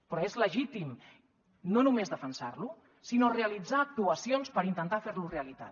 però és legítim no només defensar lo sinó realitzar actuacions per intentar fer lo realitat